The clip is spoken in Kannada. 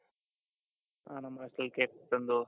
ಹ ನಮ್ಮ hostel ಅಲ್ಲಿ ಕೇಕ್ ತಂದು